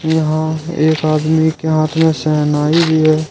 यहां एक आदमी के हाथ में शहनाई भी है।